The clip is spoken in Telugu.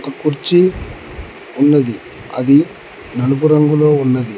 కుర్చీ ఉన్నది అది నలుపు రంగులో ఉన్నది.